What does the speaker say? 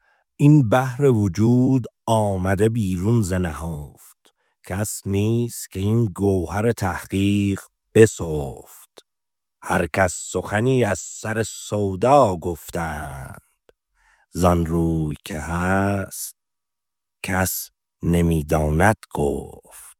این بحر وجود آمده بیرون ز نهفت کس نیست که این گوهر تحقیق بسفت هر کس سخنی از سر سودا گفتند ز آن روی که هست کس نمی داند گفت